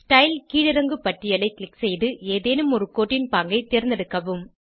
style கீழிறங்கு பட்டியலை click செய்து ஏதேனும் ஒரு கோட்டின் பாங்கை தேர்ந்தெடுக்கவும்